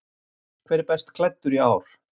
Hver er best klæddur í ár?